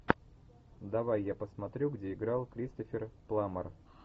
давай я посмотрю где играл кристофер пламмер